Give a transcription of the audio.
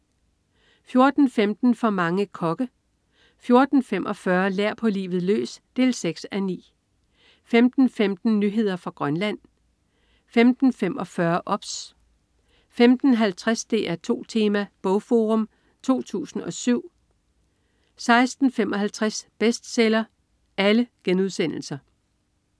14.15 For mange kokke* 14.45 Lær på livet løs 6:9* 15.15 Nyheder fra Grønland* 15.45 OBS* 15.50 DR2 Tema: BogForum 2007* 16.55 Bestseller*